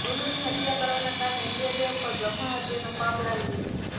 ગુરુની હત્યા કરવાના કારણે ઇન્દ્રદેવ પર બ્રહ્મા હત્યા નો પાપ લાગી ગયું